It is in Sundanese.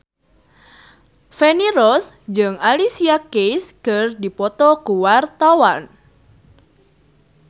Feni Rose jeung Alicia Keys keur dipoto ku wartawan